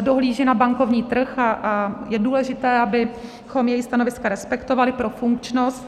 dohlíží na bankovní trh a je důležité, abychom její stanoviska respektovali pro funkčnost.